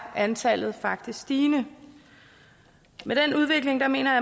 antallet faktisk stigende med den udvikling mener